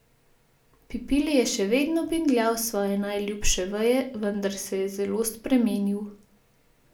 Pipili je še vedno bingljal s svoje najljubše veje, vendar se je zelo spremenil.